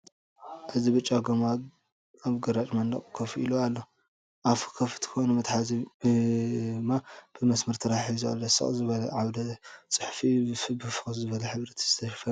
እዚ ብጫ ጎማ ኣብ ግራጭ መንደቕ ኮፍ ኢ ኣሎ። ኣፉ ክፉት ኮይኑ መትሓዚ ድማ ብመስመር ተታሒዙ ኣሎ። ስቕ ዝበለ ዓውደ-ጽሑፍ'ዩ፡ ብፍኹስ ዝበለ ሕብሪ ዝተሸፈነ እዩ።